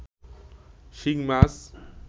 শিং মাছ